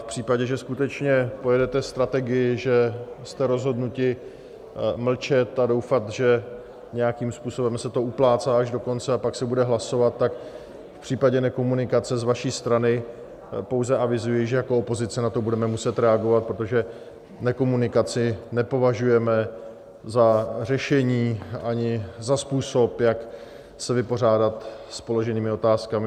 V případě, že skutečně pojedete strategii, že jste rozhodnuti mlčet a doufat, že nějakým způsobem se to uplácá až do konce a pak se bude hlasovat, tak v případě nekomunikace z vaší strany pouze avizuji, že jako opozice na to budeme muset reagovat, protože nekomunikaci nepovažujeme za řešení ani za způsob, jak se vypořádat s položenými otázkami.